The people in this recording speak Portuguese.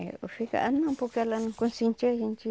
Eu ficava, não, porque ela não consentia a gente.